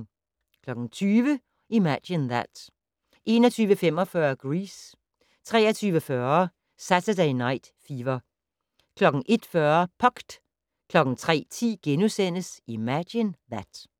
20:00: Imagine That 21:45: Grease 23:40: Saturday Night Fever 01:40: Pucked 03:10: Imagine That *